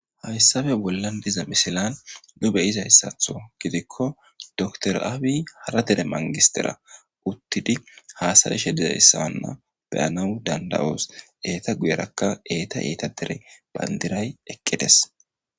hayssape bollan diza misilan nu beyizayssatho gidikko doktor Abiy hara dere mangistera uttidi haasa7ishe dizayssanna beyanawu danda7os eeta guyerakka eeta eeta dere bandiray eqqides